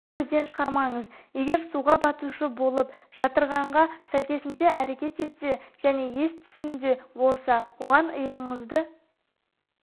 көзден шығармаңыз егер суға батушы болып жытырғанға сәйкесінше әрекет етсе және ес-түсінде болса оған иығыңызды